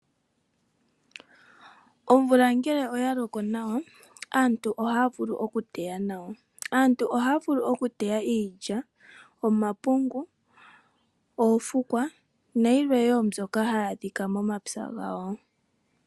Omvula ngele oya loko nawa, aantu oha ya vulu oku teya nawa. Aantu oha ya teya iilya, omapungu, oofukwa nayimwe mbyoka ha yi adhika monapya gamo.